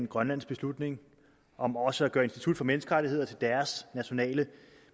grønlands beslutning om også at gøre institut for menneskerettigheder til deres nationale